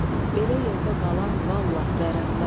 Belə yerdə qalan vallahi vərəmlər.